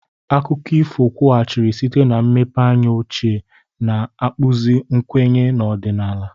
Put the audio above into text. Akụkọ ifo kwughachiri site na mmepeanya ochie, na-akpụzi nkwenye na ọdịnala.